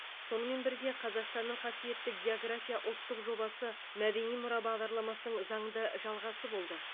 сонымен бірге қазақстанның қасиетті география ұлттық жобасы мәдени мұра бағдарламасының заңды жалғасы болды